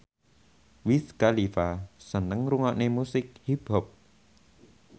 Wiz Khalifa seneng ngrungokne musik hip hop